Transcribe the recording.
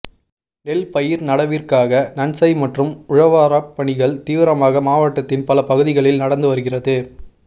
நெல் பயிர் நடவிற்காக நன்சை மற்றும் உழவாரப் பணிகள் தீவிரமாக மாவட்டத்தின் பல பகுதிகளில் நடந்து வருகிறது